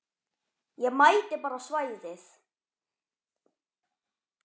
Ég mæti bara á svæðið.